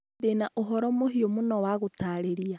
Ndĩ na ũhoro mũhiũ mũno wa gũtaarĩria.